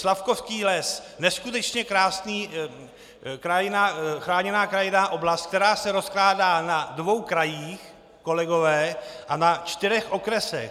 Slavkovský les, neskutečně krásná chráněná krajinná oblast, která se rozkládá na dvou krajích, kolegové, a na čtyřech okresech.